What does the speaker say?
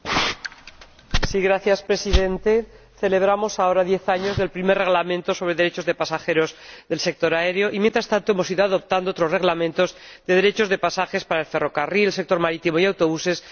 Señor Presidente, celebramos ahora diez años del primer Reglamento sobre los derechos de los pasajeros del sector aéreo y mientras tanto hemos ido adoptando otros Reglamentos sobre los derechos de los pasajeros del ferrocarril, el sector marítimo y los autobuses